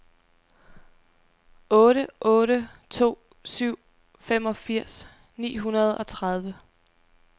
otte otte to syv femogfirs ni hundrede og tredive